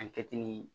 A kɛtimi ye